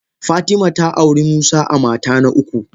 Fatima ta auri musa a mata na uku.